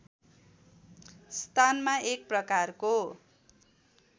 स्थानमा एक प्रकारको